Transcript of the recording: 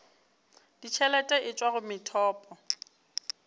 ditšhelete e tšwa go methopo